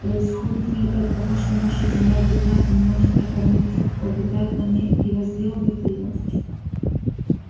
происходит ли это от того что наша земля бедна и не может прокормить тех кто обитает на ней и возделывает её